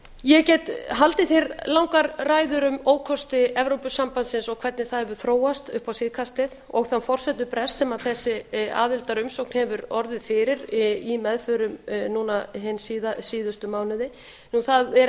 ég get haldið hér langar ræður um ókosti evrópusambandsins og hvernig það hefur þróast upp á síðkastið og þann forsendubrest sem þessi aðildarumsókn hefur orðið fyrir í meðförum núna hina síðustu mánuði það er ekki